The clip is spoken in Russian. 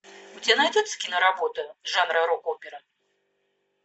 у тебя найдется киноработа жанра рок опера